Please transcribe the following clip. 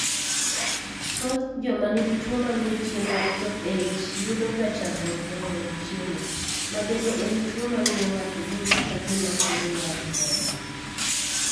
Thoth joma nigi tuo mamio chiemo ok chop e ich yudo ga chandruok e mwonyo chiemo, ma bende en tuo mamio ng'ato winjo ka gima kore wang' kod.